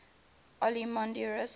olympiodoros and